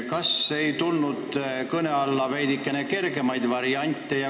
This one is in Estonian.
Kas ei tulnud kõne alla veidikene kergemaid variante?